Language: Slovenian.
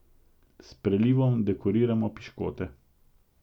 S prelivom dekoriramo piškote.